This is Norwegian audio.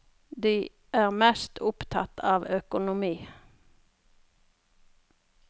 De er mest opptatt av økonomi.